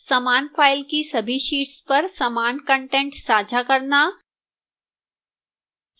समान file की सभी शीट्स पर समान कंटेंट साझा करना